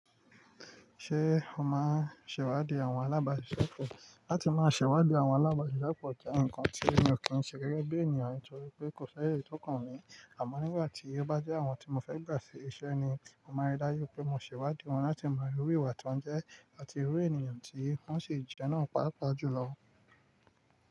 Ṣé o máa ń ṣèwádìí àwọn alábàáṣiṣẹ́pọ̀? Láti máa ṣèwádìí àwọn alábàáṣiṣẹ́pọ̀ jẹ́ ǹkan tí èmi ò kí ń ṣe gẹ́gẹ́ bí ènìyàn nítorí pé kò ṣáyé tó kàn mí. Àmọ́ nígbà tí ó bá jẹ́ àwọn tí mo fẹ́ gbà sí iṣẹ́ ni, mo máa rí dájú pé mo ṣèwádìí wọn láti mọ irú ìwà tí wọ́n jẹ́ àti irú ènìyàn tí wọ́n ṣì jẹ́ náà pàápàá jùlọ.